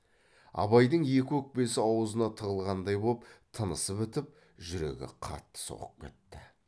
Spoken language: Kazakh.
абайдың екі өкпесі аузына тығылғандай боп тынысы бітіп жүрегі қатты соғып кетті